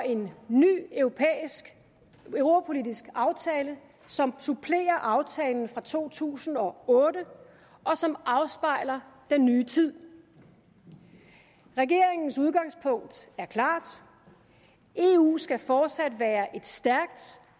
en ny europapolitisk aftale som supplerer aftalen fra to tusind og otte og som afspejler den nye tid regeringens udgangspunkt er klart eu skal fortsat være et stærkt